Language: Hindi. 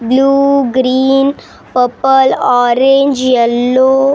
Blue green purple orange yellow red.